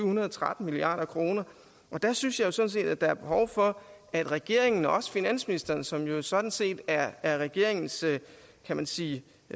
hundrede og tretten milliard kroner der synes jeg sådan set at der er behov for at regeringen og også finansministeren som jo sådan set er er regeringens kan man sige